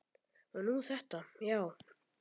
Og nú þetta, já.